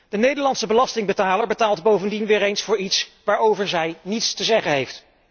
De Nederlandse belastingbetaler betaalt bovendien weer eens voor iets waarover hij niets te zeggen heeft.